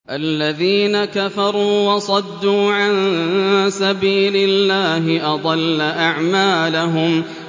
الَّذِينَ كَفَرُوا وَصَدُّوا عَن سَبِيلِ اللَّهِ أَضَلَّ أَعْمَالَهُمْ